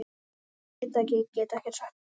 Veit það ekki, get ekkert um það sagt.